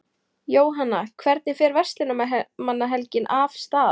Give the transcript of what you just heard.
Jóhann, hvernig fer Verslunarmannahelgin af stað?